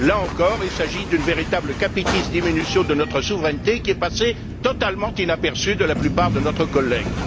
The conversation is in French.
Là encore, il s'agit d'une véritable capitis deminutio de notre souveraineté, qui est passée totalement inaperçue aux yeux de la plupart de nos collègues.